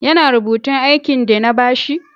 Ya na rubutun aikin de na ba shi?